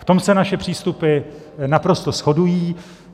V tom se naše přístupy naprosto shodují.